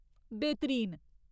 बेह्तरीन !